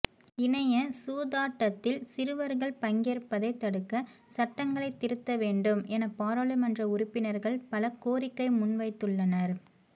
இணைய சூதாட்டத்தில் சிறுவர்கள் பங்கேற்பதை தடுக்க சட்டங்களை திருத்த வேண்டும் என பாராளுமன்ற உறுப்பினர்கள் பல கோரிக்கை முன்வைத்துள்ளனர்